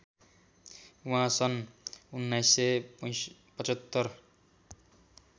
उहाँ सन् १९७५